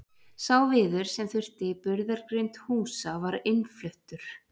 sá viður sem þurfti í burðargrind húsa var innfluttur